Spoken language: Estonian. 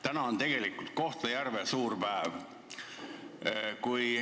Täna on tegelikult Kohtla-Järvel suur päev.